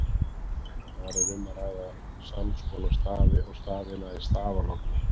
Þar er um að ræða sams konar stafi og stafina í stafalogni.